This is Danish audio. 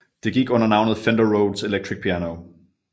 Det gik under navnet Fender Rhodes Electric Piano